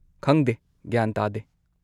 ꯈꯪꯗꯦ ꯒ꯭ꯌꯥꯟ ꯇꯥꯗꯦ.